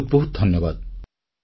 ବହୁତ ବହୁତ ଧନ୍ୟବାଦ